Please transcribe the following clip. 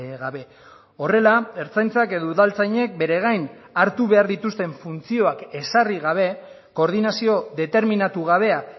gabe horrela ertzaintzak edo udaltzainek beregain hartu behar dituzten funtzioak ezarri gabe koordinazio determinatu gabea